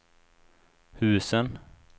husen